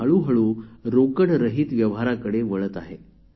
हळूहळू रोकडरहित व्यवहारांकडे वळत आहेत